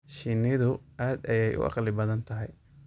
Shinnidu aad ayay u caqli badan tahay.